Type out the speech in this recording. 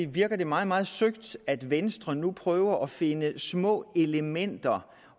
virker det meget meget søgt at venstre nu prøver at finde små elementer